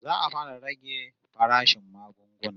Za'a fara rage farashin magunguna